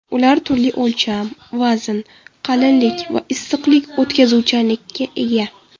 Ular turli o‘lcham, vazn, qalinlik va issiqlik o‘tkazuvchanlikka ega.